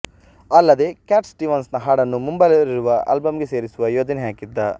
ಅಲ್ಲದೇ Cat Stevens ನ ಹಾಡನ್ನು ಮುಂಬರಲಿರುವ ಆಲ್ಬಂ ಗೆ ಸೇರಿಸುವ ಯೋಜನೆ ಹಾಕಿದ್ದ